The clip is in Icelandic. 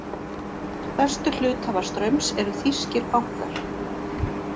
Stærstu hluthafar Straums eru þýskir bankar